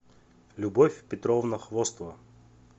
любовь петровна хвостова